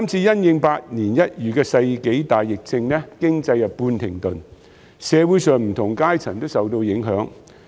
由於百年一遇的世紀大疫症，經濟半停頓，社會上不同階層都受到影響。